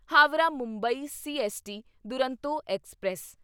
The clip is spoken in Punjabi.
Howrah Mumbai CST Duronto express